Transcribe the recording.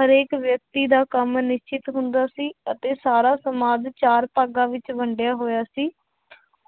ਹਰੇਕ ਵਿਅਕਤੀ ਦਾ ਕੰਮ ਨਿਸ਼ਚਿਤ ਹੁੰਦਾ ਸੀ, ਅਤੇ ਸਾਰਾ ਸਮਾਜ ਚਾਰ ਭਾਗਾਂ ਵਿੱਚ ਵੰਡਿਆ ਹੋਇਆ ਸੀ